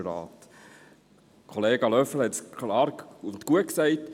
Der Kollege Löffel hat es gut ausgedrückt.